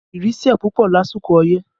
Ìrì sẹ̀ pupọ lásìkò ọyẹ́